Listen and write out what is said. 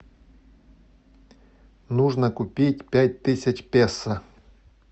нужно купить пять тысяч песо